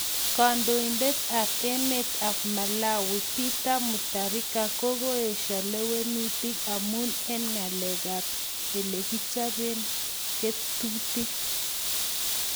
Kandoidet ap emet ap Malawi ,Peter Mutharika koeshaa leweutin emun eng galek ap elekichapen ketutik